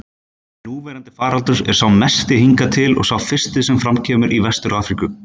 Núverandi faraldur er sá mesti hingað til og sá fyrsti sem fram kemur í Vestur-Afríku.